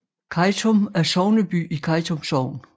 Kejtum er sogneby i Kejtum Sogn